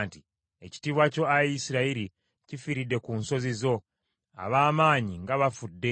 “Ekitiibwa kyo, ayi Isirayiri, kifiiridde ku nsozi zo! Ab’amaanyi nga bagudde!